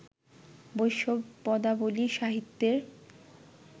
বৈষ্ণব পদাবলী সাহিত্যর